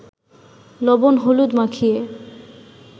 লবণ-হলুদ মাখিয়ে